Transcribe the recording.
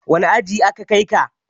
Wane aji aka kai ka?